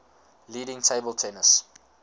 leading table tennis